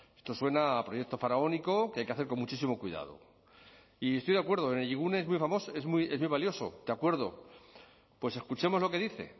esto suena a proyecto faraónico que hay que hacer con muchísimo cuidado y estoy de acuerdo energigune es muy valioso de acuerdo pues escuchemos lo que dice